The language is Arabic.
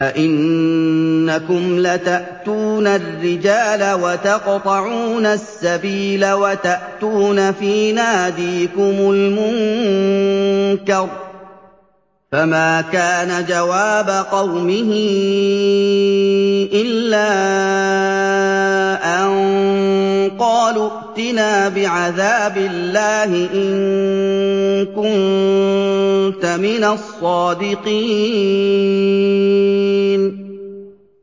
أَئِنَّكُمْ لَتَأْتُونَ الرِّجَالَ وَتَقْطَعُونَ السَّبِيلَ وَتَأْتُونَ فِي نَادِيكُمُ الْمُنكَرَ ۖ فَمَا كَانَ جَوَابَ قَوْمِهِ إِلَّا أَن قَالُوا ائْتِنَا بِعَذَابِ اللَّهِ إِن كُنتَ مِنَ الصَّادِقِينَ